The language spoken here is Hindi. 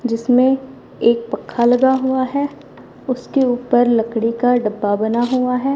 जिसमें एक पंख लगा हुआ है उसके ऊपर लकड़ी का डब्बा बना हुआ है।